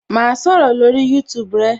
Ma sọ̀rọ̀ lórí YouTube rẹ